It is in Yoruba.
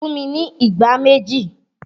Fún mi ní ìgbá méjì!